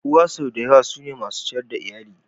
Uwa sau da yawa su ne masu ciyar da iyali.